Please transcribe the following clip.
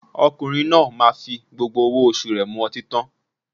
Ọkùnrin náà máa fi gbogbo owó oṣù rẹ̀ mu ọtín tán